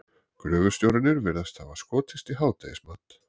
Gröfustjórarnir virðast hafa skotist í hádegismat.